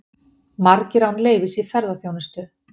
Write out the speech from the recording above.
Margir án leyfis í ferðaþjónustu